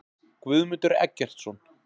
Guðmundur Eggertsson.